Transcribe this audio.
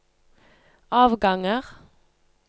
avganger